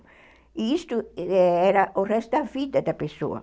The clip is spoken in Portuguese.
E isso era o resto da vida da pessoa.